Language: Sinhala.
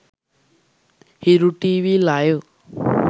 hiru tv live